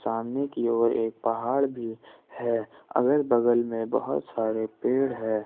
सामने की ओर एक पहाड़ भी है अगल बगल में बहुत सारे पेड़ है।